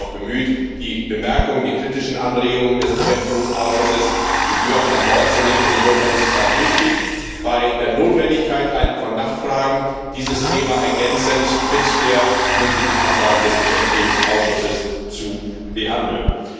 Wir haben uns auch bemüht, die Bemerkungen, die kritischen Anregungen, des Beschäftigungsausschusses gebührend zu berücksichtigen, und insofern ist es auch richtig, angesichts der Notwendigkeit von Nachfragen dieses Thema ergänzend mit der mündlichen Anfrage des Beschäftigungsausschusses zu behandeln.